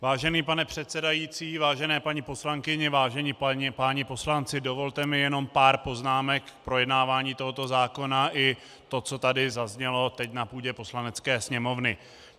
Vážený pane předsedající, vážené paní poslankyně, vážení páni poslanci, dovolte mi jenom pár poznámek k projednávání tohoto zákona i tomu, co tady zaznělo teď na půdě Poslanecké sněmovny.